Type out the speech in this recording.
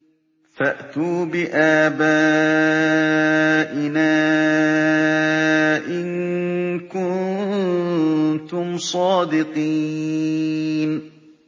فَأْتُوا بِآبَائِنَا إِن كُنتُمْ صَادِقِينَ